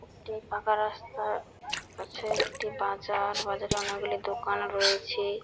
একটি ফাঁকা রাস্তা আছে একটি বাজার বাজারে অনেকগুলি দোকান রয়েছে ।